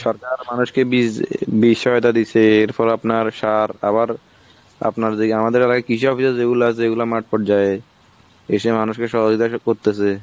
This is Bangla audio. সরকার মানুষকে বিষ বিষয়টা দিচ্ছে এর পর আপনার সার আবার আপনার ওই দিকে আমাদের আবার কৃষি office এ যে গুলো আছে মাঠফাট যাই এসে মানুষকে সহযোগিতা করতেছে।